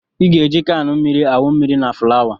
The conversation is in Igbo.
I ga-eji kan mmiri awụ mmiri na fulawa